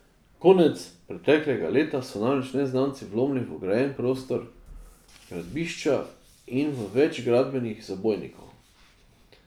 Konec preteklega leta so namreč neznanci vlomili v ograjen prostor gradbišča in v več gradbenih zabojnikov.